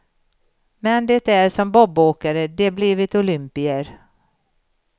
Men det är som bobåkare de blivit olympier.